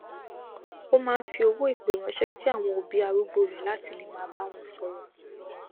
ó máa n fi owó ìpè ránṣẹ sí àwọn òbí arúgbó rẹ láti lè máa bá wọn sọrọ